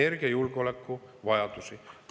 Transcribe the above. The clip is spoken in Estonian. … energiajulgeolekuvajadusi.